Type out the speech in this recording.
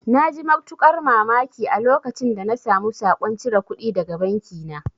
Na ji matuƙar mamaki a lokacin da na samu saƙon cire kudi daga banki na